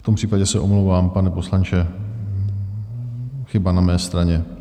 V tom případě se omlouvám, pane poslanče, chyba na mé straně.